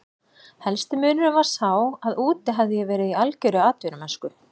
Helsti munurinn var sá að úti hafði ég verið í algjörri atvinnumennsku.